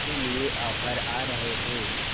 के लिए ऑफर आ रहे थे